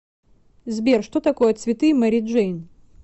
сбер что такое цветы мэри джейн